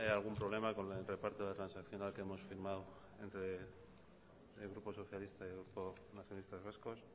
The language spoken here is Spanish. hay algún problema con el reparto de la transaccional que hemos firmado entre el grupo socialista y el grupo nacionalistas vascos